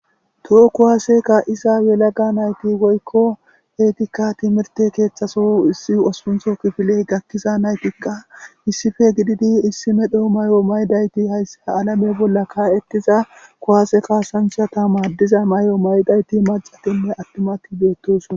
Toho kuwaaseka isa welaga nayti goykko eetikka timirte keeththaso issi osuntho kifiley gakkiza naytikka issife gididi issi medho may'o maydayti hayssi ha alame bolla ka'etiza kuwaase kaasanthata maaddiza may'o maydayti macatinne attimati beettosn.